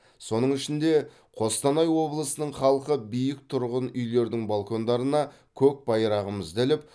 соның ішінде қостанай облысының халқы биік тұрғын үйлердің балкондарына көк байрағымызды іліп